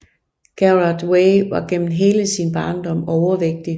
Gerard Way var gennem hele sin barndom overvægtig